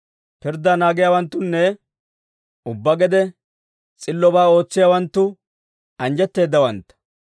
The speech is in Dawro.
Pirddaa naagiyaawanttunne, ubbaa gede s'illobaa ootsiyaawanttu anjjetteeddawantta.